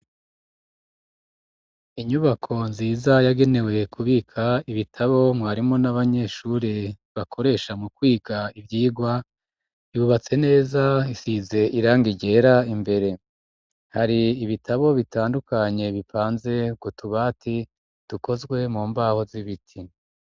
Inyubako nziza yagenewe kubika ibitabo mwarimo n'abanyeshure bakoresha mu kwiga ivyigwa yubatse neza isize irangi ryera imbere hari ibitabo bitandukanye bipanze k'utubati dukozwe mu mbaho z'ibiti.